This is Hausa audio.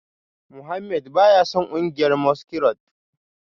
Mohammed baya son kungiyar masquerade